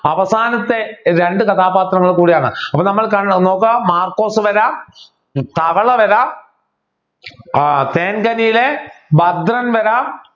അവസാനത്തെ രണ്ട് കഥാപാത്രങ്ങൾ കൂടിയാണ് അപ്പൊ നമ്മൾ കാണണം നോക്കാ മാർക്കോസ് വരാം തവള വരാം ഏർ തേൻകനിയിലെ ഭദ്രൻ വരാം